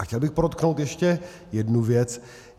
A chtěl bych podotknout ještě jednu věc.